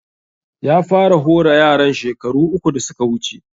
Ya fara hora yaran shekaru uku da suka wuce